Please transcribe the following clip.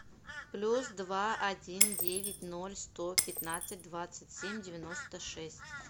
плюс два один девять ноль сто пятнадцать двадцать семь девяносто шесть